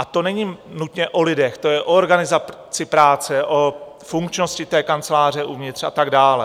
A to není nutně o lidech, to je o organizaci práce, o funkčnosti té kanceláře uvnitř a tak dále.